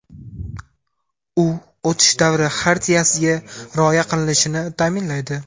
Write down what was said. U o‘tish davri xartiyasiga rioya qilinishini ta’minlaydi.